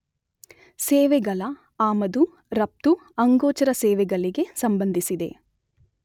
ಸೇವೆಗಳ ಆಮದು ರಫ್ತು, ಅಗೋಚರ ಸೇವೆಗಳಿಗೆ ಸಂಬಂಧಿಸಿದೆ.